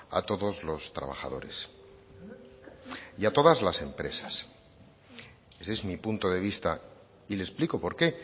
a todos los trabajadores y a todas las empresas ese es mi punto de vista y le explico por qué